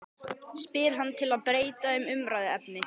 spyr hann til að breyta um umræðuefni.